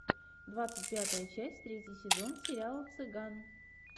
двадцать пятая часть третий сезон сериала цыган